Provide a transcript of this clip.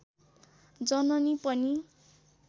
जननी पनि